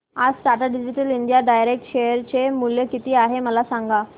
आज Tata digital India direct share चे मूल्य किती आहे मला सांगा